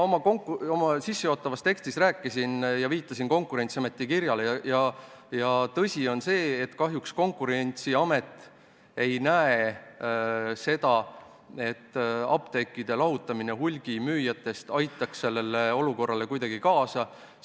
Oma sissejuhatavas tekstis viitasin Konkurentsiameti kirjale ja tõsi on see, et Konkurentsiamet kahjuks ei näe, et apteekide lahutamine hulgimüüjatest aitaks sellele olukorrale kuidagi kaasa.